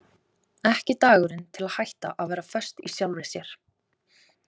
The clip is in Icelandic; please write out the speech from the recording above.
Ekki dagurinn til að hætta að vera föst í sjálfri sér.